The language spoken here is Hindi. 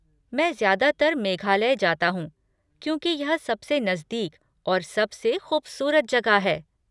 मैं ज़्यादातर मेघालय जाता हूँ, क्योंकि यह सबसे नज़दीक और सबसे खूबसूरत जगह है।